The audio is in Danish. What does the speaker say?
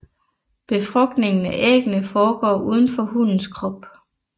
Befrugtningen af æggene foregår uden for hunnens krop